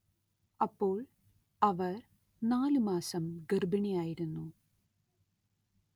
അപ്പോൾ അവർ നാലു മാസം ഗർഭിണിയായിരുന്നു